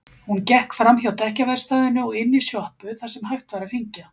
Hún gekk framhjá dekkjaverkstæðinu og inn í sjoppu þar sem hægt var að hringja.